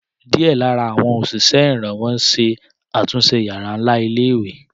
Díẹ̀ lára àwọn òṣìṣẹ́ ìrànwọ́ ṣe àtúnṣe yàrá ńlá ilé ìwé